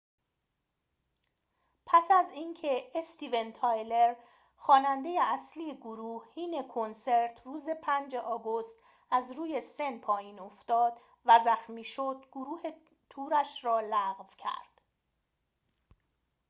پس از اینکه استیون تایلر خواننده اصلی گروه حین کنسرت روز ۵ آگوست از روی سن پایین افتاد و زخمی شد گروه تورش را لغو کرد